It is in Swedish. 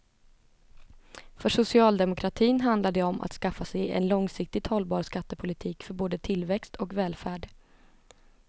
För socialdemokratin handlar det om att skaffa sig en långsiktigt hållbar skattepolitik för både tillväxt och välfärd.